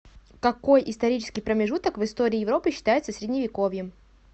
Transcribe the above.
какой исторический промежуток в истории европы считается средневековьем